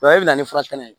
O ye e bɛ na ni furakɛnɛ ye